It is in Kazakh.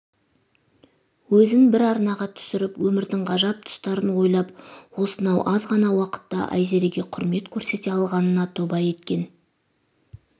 өзін бір арнаға түсіріп өмірдің ғажап тұстарын ойлап осынау аз ғана уақытта айзереге құрмет көрсете алғанына тоба еткен